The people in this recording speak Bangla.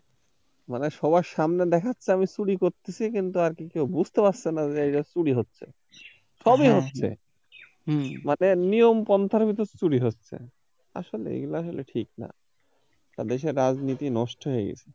মানে সবার সামনে দেখাচ্ছে আমি চুরি করতেছি কিন্তু আর কি কেউ বুঝতে পারতে ছেনা যে চুরি হচ্ছে সবি হচ্ছে মানে নিয়ম প্রন্থার ভিতর চুরি হচ্ছে আসলেই এগুলো আসলে ঠিক না দেশের রাজনীতি নষ্ট হয়ে গেছে